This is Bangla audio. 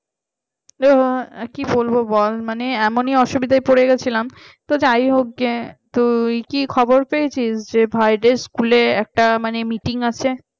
আহ এ কি বলবো বল মানে এমনই অসুবিধায় পড়ে গেছিলাম তো যাই হোকগে যে তুই কি খবর পেয়েছিস ভাইদের school এ একটা meeting আছে